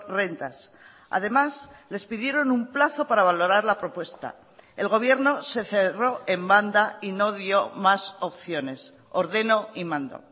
rentas además les pidieron un plazo para valorar la propuesta el gobierno se cerró en banda y no dio más opciones ordeno y mando